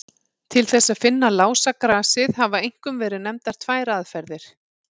Til þess að finna lásagrasið hafa einkum verið nefndar tvær aðferðir.